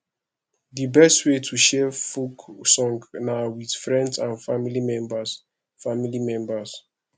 di best way to share folk song na with friends and family members family members